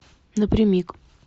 напрямик